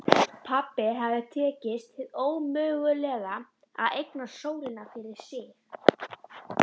Pabba hafði tekist hið ómögulega: að eignast sólina fyrir sig.